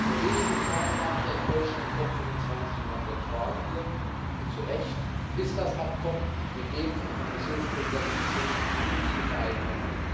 Nur wenige Tage nach der enttäuschenden COP 25 in Madrid fragen wir, und zu Recht Ist das Abkommen mit dem von der Kommissionspräsidentin verkündeten Green Deal vereinbar?